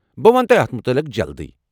بہٕ ونہٕ تۄہہ اتھ متعلق جلدی۔